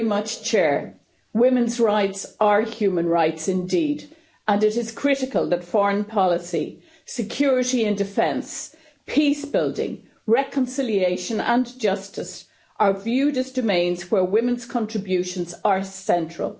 Mr President, women's rights are human rights, indeed. It is critical that foreign policy, security and defence, peacebuilding, reconciliation and justice are viewed as domains where women's contributions are central.